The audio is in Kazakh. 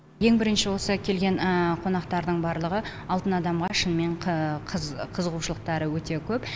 ең бірінші осы келген қонақтардың барлығы алтын адамға шынымен қыз қызығушылықтары өте көп